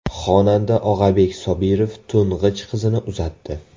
Xonanda Og‘abek Sobirov to‘ng‘ich qizini uzatdi .